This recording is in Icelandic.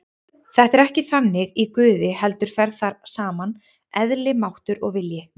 Þetta er ekki þannig í Guði heldur fer þar saman eðli, máttur og vilji.